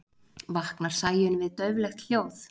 vaknar sæunn við dauflegt hljóð